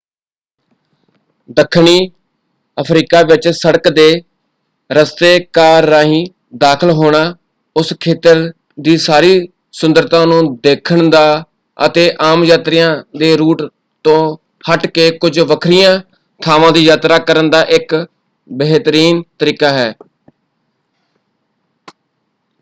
ਦੱਖਣੀ ਅਫ਼ਰੀਕਾ ਵਿੱਚ ਸੜਕ ਦੇ ਰਸਤੇ ਕਾਰ ਰਾਹੀਂ ਦਾਖ਼ਲ ਹੋਣਾ ਉਸ ਖੇਤਰ ਦੀ ਸਾਰੀ ਸੁੰਦਰਤਾ ਨੂੰ ਦੇਖਣ ਦਾ ਅਤੇ ਆਮ ਯਾਤਰੀਆਂ ਦੇ ਰੂਟ ਤੋਂ ਹੱਟ ਕੇ ਕੁਝ ਵੱਖਰੀਆਂ ਥਾਵਾਂ ਦੀ ਯਾਤਰਾ ਕਰਨ ਦਾ ਇੱਕ ਬਿਹਤਰੀਨ ਤਰੀਕਾ ਹੈ।